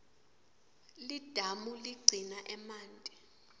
lidamu ligcina emanti